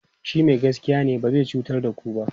shi Mai gaskiya ne ba zai cutar da ku ba